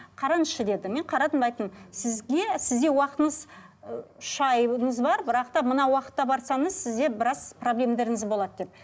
қараңызшы деді мен қарадым айттым сізге сізде уақытыңыз ы үш айыңыз бар бірақ та мына уақытта барсаңыз сізде біраз болады деп